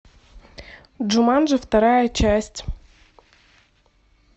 джуманджи вторая часть